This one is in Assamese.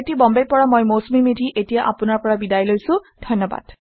আই আই টী বম্বে ৰ পৰা মই মৌচুমী মেধী এতিয়া আপুনাৰ পৰা বিদায় লৈছো যোগদানৰ বাবে ধন্যবাদ